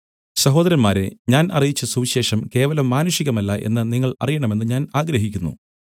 സഹോദരന്മാരേ ഞാൻ അറിയിച്ച സുവിശേഷം കേവലം മാനുഷികമല്ല എന്ന് നിങ്ങൾ അറിയണമെന്ന് ഞാൻ ആഗ്രഹിക്കുന്നു